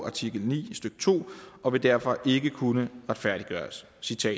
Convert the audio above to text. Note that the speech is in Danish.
artikel ni stykke to og vil derfor ikke kunne retfærdiggøres